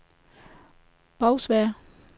Bagsværd